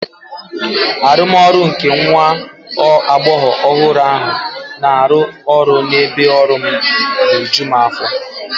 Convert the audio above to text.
Arụmọrụ nke nwa agbọghọ ọhụrụ ahụ na-arụ ọrụ n'ebe ọrụ m na-eju m afọ.